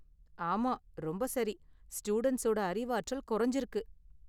ஆமா, ரொம்ப சரி, ஸ்டூடண்ட்ஸோட அறிவாற்றல் குறைஞ்சிருக்கு.